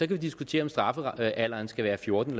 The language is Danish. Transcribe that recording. vi diskutere om straffealderen skal være fjorten